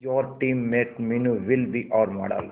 your teammate Meenu will be our model